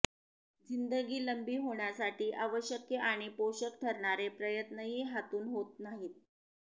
जिंदगी लंबी होण्यासाठी आवश्यक आणि पोषक ठरणारे प्रयत्नही हातून होत नाहीत